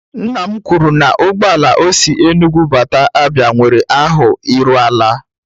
Nna m kwuru na ụgbọ ala o si Enugwu bata Abia nwere ahụ iru ala.